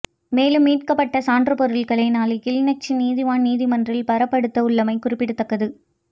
மேலும் மீட்கப்பட்ட சான்றுப் பொருட்களை நாளை கிளிநொச்சி நீதவான் நீதிமன்றில் பாரப்படுத்த உள்ளமை குறிப்பிடத்தக்கது